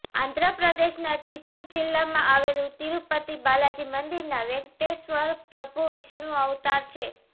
આંધ્ર પ્રદેશના ચિત્તુર જિલ્લામાં આવેલું તિરુપતી બાલાજી મંદિરના વેંકટેશ્વર પ્રભુ વિષ્ણું અવતાર છે